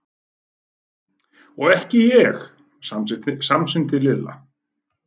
Og ekki ég! samsinnti Lilla.